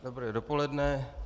Dobré dopoledne.